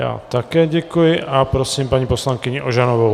Já také děkuji a prosím paní poslankyni Ožanovou.